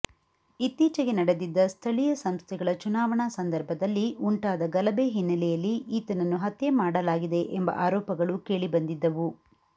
ಇತ್ತೀಚೆಗೆ ನಡೆದಿದ್ದ ಸ್ತಳೀಯ ಸಂಸ್ಥೆಗಳ ಚುನಾವಣಾ ಸಂದರ್ಭದಲ್ಲಿ ಉಂಟಾದ ಗಲಭೆ ಹಿನ್ನಲೆಯಲ್ಲಿ ಈತನನ್ನು ಹತ್ಯೆ ಮಾಡಲಾಗಿದೆ ಎಂಬ ಆರೋಪಗಳು ಕೇಳಿಬಂದಿದ್ದವು